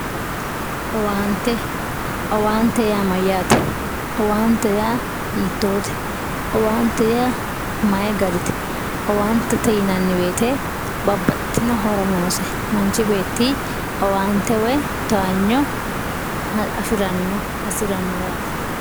Owaante, owaante yaa mayyate, owaante yaa hiittote ,owaante yaa mayi garite ,owaantete yinanni woyte babbaxxitino horo noose manchi beetti owaante woyi towaanyo afirano woyi hasiirano yaate.